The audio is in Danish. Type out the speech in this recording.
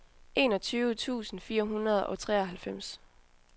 enogtyve tusind fire hundrede og treoghalvfems